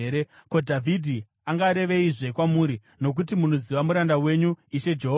“Ko, Dhavhidhi angareveizve kwamuri? Nokuti munoziva muranda wenyu, Ishe Jehovha.